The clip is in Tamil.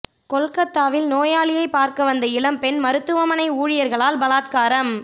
கொல்கத்தாவில் நோயாளியை பார்க்க வந்த இளம் பெண் மருத்துவமனை ஊழியர்களால் பலாத்காரம்